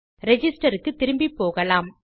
register க்கு திரும்பிப்போகலாம்